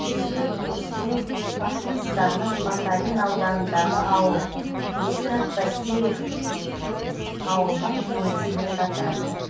ескі косте башқұртстанның бакалин ауданындағы ауыл ескі костеев ауылдық кеңесіне жатады